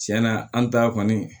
Tiɲɛna an ta kɔni